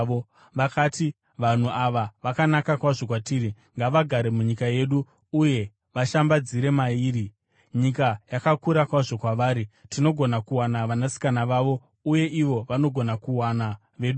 Vakati, “Vanhu ava vakanaka kwazvo kwatiri. Ngavagare munyika yedu uye vashambadzire mairi; nyika yakakura kwazvo kwavari. Tinogona kuwana vanasikana vavo uye ivo vanogona kuwana veduwo.